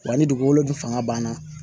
Wa ni dugukolo dun fanga banna